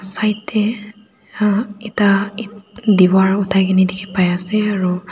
side tae ekta diwar othai kaena dikhipaiase aro--